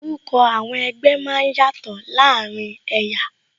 Orúkọ àwọn ẹgbẹ́ máa ń yàtò láàárín ẹ̀yà